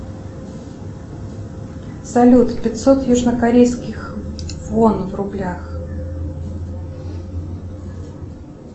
салют пятьсот южнокорейских вон в рублях